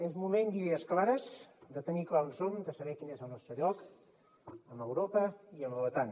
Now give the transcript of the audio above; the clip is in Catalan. és moment d’idees clares de tenir clar on som de saber quin és el nostre lloc amb europa i amb l’otan